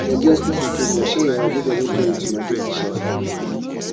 naija hospital sweet but shine your eye make dem no turn you to emergency shelter